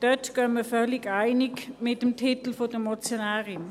Diesbezüglich gehen wir völlig einig mit dem Titel der Motionärin.